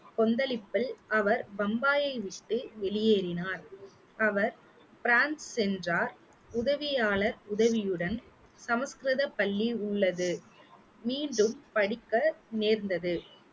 கொந்தளிப்பில் அவர் பம்பாயை விட்டு வெளியேறினார் அவர் பிரான்ஸ் சென்றார் உதவியாளர் உதவியுடன் சமஸ்கிருத பள்ளி உள்ளது மீண்டும் படிக்க நேர்ந்தது